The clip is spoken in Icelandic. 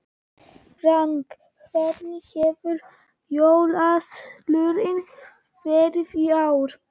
Frank, hvernig hefur jólaverslunin verið í ár?